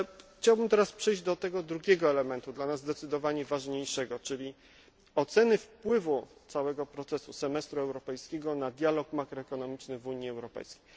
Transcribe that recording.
Chciałbym teraz przejść do tego drugiego elementu, dla nas zdecydowanie ważniejszego, czyli oceny wpływu całego procesu semestru europejskiego na dialog makroekonomiczny w Unii Europejskiej.